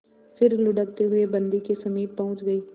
फिर लुढ़कते हुए बन्दी के समीप पहुंच गई